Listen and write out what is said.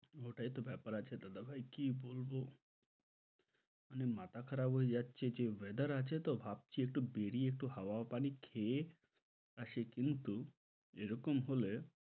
ওটাইতো ব্যাপার আছে দাদা ভাই কি বলব মানে মাথা খারাপ হয়ে যাচ্ছে যে weather আছে তো ভাবছি একটু বেরিয়ে একটু হাওয়া পানি খেয়ে আসি কিন্তু এরকম হলে,